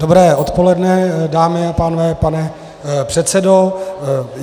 Dobré odpoledne, dámy a pánové, pane předsedo.